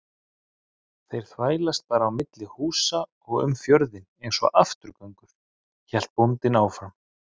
Þeir þvælast bara á milli húsa og um fjörðinn einsog afturgöngur, hélt bóndinn áfram.